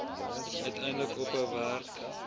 uiteindelik ophou werk